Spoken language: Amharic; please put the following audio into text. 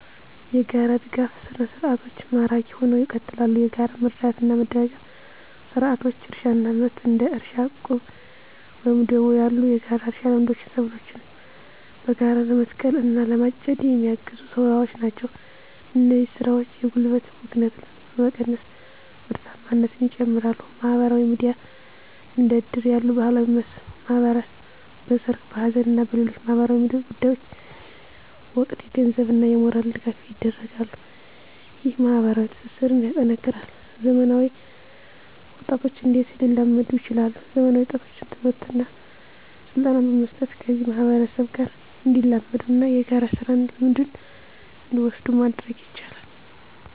**የጋራ ድጋፍ ሰርዓቶች ማራኪ ሁነው ይቀጥላሉ፤ የጋራ መረዳዳትና መደጋገፍ ስርዓቶች: * እርሻና ምርት: እንደ እርሻ ዕቁብ ወይም ደቦ ያሉ የጋራ እርሻ ልምዶች ሰብሎችን በጋራ ለመትከል እና ለማጨድ የሚያግዙ ስራዎች ናቸው። እነዚህ ስራዎች የጉልበት ብክነትን በመቀነስ ምርታማነትን ይጨምራሉ። * ማህበራዊ ድጋፍ: እንደ እድር ያሉ ባህላዊ ማህበራት በሠርግ፣ በሐዘን እና በሌሎች ማኅበራዊ ጉዳዮች ወቅት የገንዘብና የሞራል ድጋፍ ያደርጋሉ። ይህ ማኅበራዊ ትስስርን ያጠናክራል። *ዘመናዊ ወጣቶች እንዴት ሊላመዱ ይችላሉ፤ ዘመናዊ ወጣቶችን ትምህርትና ስልጠና በመስጠት ከዚህ ማህበረሰብ ጋር እንዲላመዱና የጋራ ስራ ልምድን እንዲወስዱ ማድረግ ይቻላል።